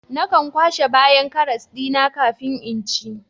Nakan kwashe bayan karas dina kafin in ci